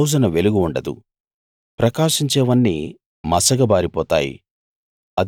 ఆ రోజున వెలుగు ఉండదు ప్రకాశించేవన్నీ మసకబారిపోతాయి